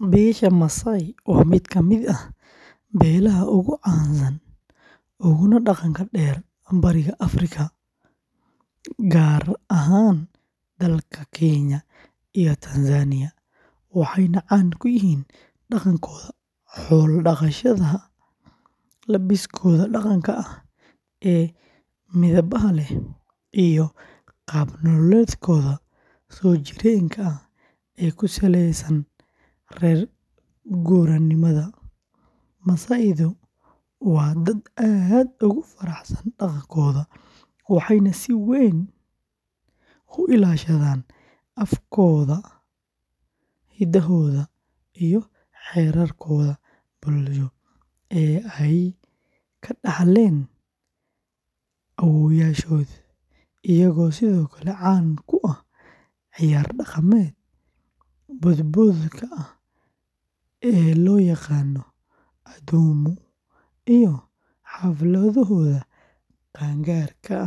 Beesha Maasai waa mid ka mid ah beelaha ugu caansan uguna dhaqanka dheer Bariga Afrika, gaar ahaan dalalka Kenya iyo Tanzania, waxayna caan ku yihiin dhaqankooda xoolo-dhaqashada, labiskooda dhaqanka ah ee midabbada leh, iyo qaab nololeedkooda soo jireenka ah ee ku saleysan reer-guuraanimada; Maasai-du waa dad aad ugu faraxsan dhaqankooda, waxayna si weyn u ilaashadaan afkooda, hidahooda, iyo xeerarkooda bulsho ee ay ka dhaxleen awoowayaashood, iyagoo sidoo kale caan ku ah ciyaar dhaqameedka boodboodka ah ee loo yaqaan “Adumu” iyo xafladahooda qaan-gaarka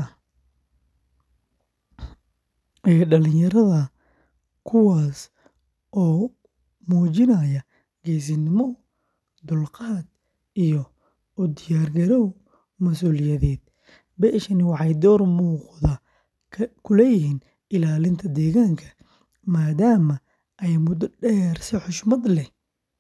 ee dhallinyarada, kuwaas oo muujinaya geesinimo, dulqaad, iyo u diyaargarow mas’uuliyadeed; beeshani waxay door muuqda ku leeyihiin ilaalinta deegaanka, maadaama ay muddo dheer si xushmad leh.